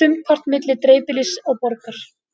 sumpart milli dreifbýlis og borgar.